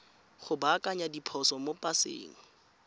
go baakanya diphoso mo paseng